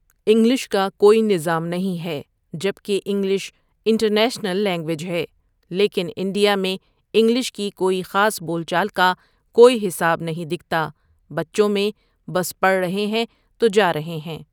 English کا کوئی نظام نہیں ہے جب کہ انگلش انٹرنیشنل لینگویج ہے لیکن انڈیا میں انگلش کی کوئی خاص بول چال کا کوئی حساب نہیں دکھتا بچوں میں بس پڑھ رہے تو جا رہے ہیں ۔